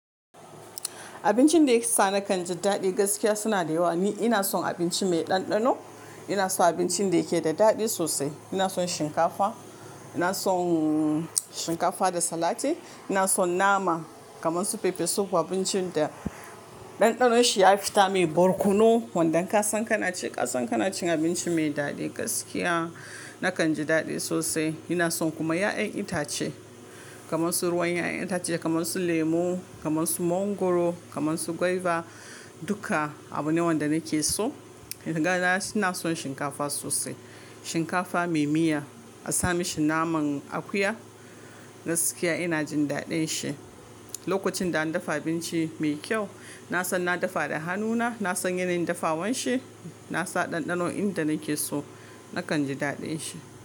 Abincin da yake sa na kan ji daɗi gaskiya suna da yawa. Ni ina son abinci mai ɗanɗano, ina so abincin da yake da daɗi sosai. Ina son shinkafa, ina son shinkafa da salati, ina son nama kamar su fefesuf, abincin da ɗanɗanonshi ya fita mai barkono. Wanda inka san kana ci, ka san kana cin abinci mai daɗi gaskiya. Na kan ji daɗi sosai. Ina son kuma ƴaƴan itace kamar su ruwan ƴaƴan itace kamar su lemo, kamar su mangwaro, kamar su gwaiba duka abu ne wanda nake so. Ni ga na ina son shinkafa sosai. Shinkafa mai miya a sami shi naman akuya gaskiya ina jin daɗin shi. Lokacin da an dafa abinci mai kyau, na san na dafa da hannuna, na san yanayin dafawanshi, na san ɗanɗano inda nake so, na kan ji daɗin shi.